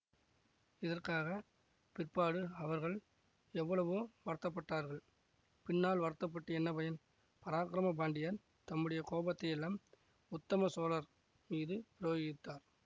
இதற்காகப் பிற்பாடு அவர்கள் எவ்வளவோ வருத்தப்பட்டார்கள் பின்னால் வருத்த பட்டு என்ன பயன் பராக்கிரம பாண்டியர் தம்முடைய கோபத்தையெல்லாம் உத்தம சோழர் மீது பிரயோகித்தார்